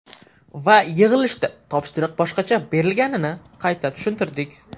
Va yig‘ilishda topshiriq boshqacha berilganini qayta tushuntirdik.